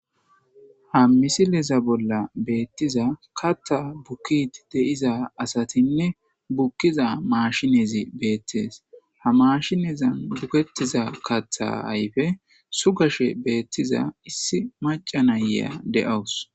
ha misileza bolla beettiza katta bukkit deiza asatinne bukkiza maashinezi beettees ha mashinezan bukettiza katha ayfe sugashe beettiza issi macanaya de7awus